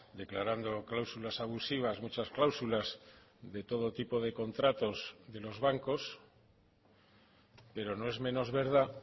declarando cláusulas abusivas muchas cláusulas de todo tipo de contratos de los bancos pero no es menos verdad